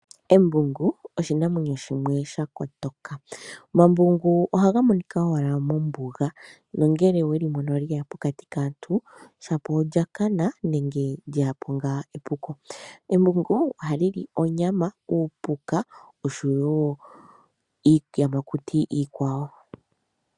Embungu oshinamwenyo shimwe sha kotoka. Omambungu ohaga monika owala mombuga nongele oweli mono lye ya pokati kaantu shapo olya kana nenge lye ya po ngaa epuko. Embungu ohali li onyama, uupuka nosho woo iiyamakuti iikwawo.